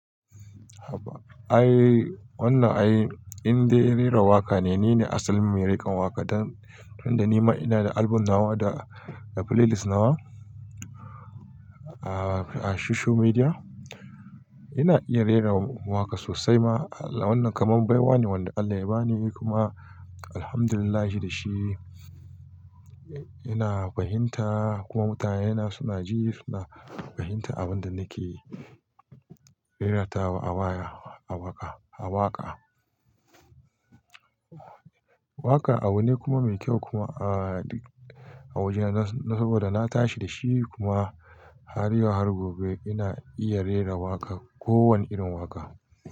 Haba. Ai wannan ai in dai rera waƙa ne, ni ne asalin mirikan waƙa. Dan tun da nima ina da album nawa da playlist nawa a, a social media. Ina iya rera waƙa sosai ma. Wannan kamar baiwa ne wanda Allah ya bani kuma Alhamdulillah shi da shi. Ina fahimta kuma mutanen na suna ji suna fahimta abin da nake rera ta a waya, a waƙa, a waƙa. Waka abu ne kuma mai kyau kuma a duk a wajena saboda na tashi da shi kuma har yau har gobe ina iya rera waƙa, ko wane irin waƙa.